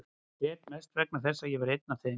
Ég grét mest vegna þess að ég var einn af þeim.